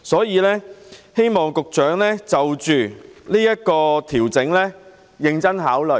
我希望局長應就這個調整認真考慮。